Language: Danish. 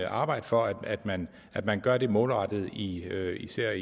arbejde for at man at man gør det målrettet i især især